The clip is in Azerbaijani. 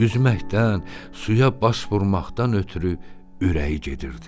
Üzməkdən, suya baş vurmaqdan ötrü ürəyi gedirdi.